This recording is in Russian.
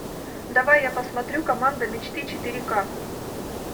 давай я посмотрю команда мечты четыре ка